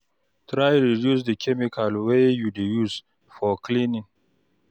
Try reduce di chemical wey you dey use for cleaning